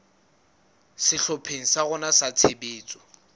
sehlopheng sa rona sa tshebetso